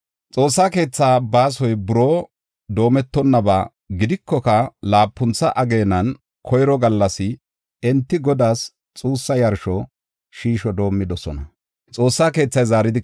Xoossa keetha baasoy buroo doometonaba gidikoka Laapuntha ageenan koyro gallas enti Godaas xuussa yarsho shiisho doomidosona.